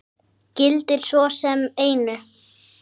Gildir svo sem einu.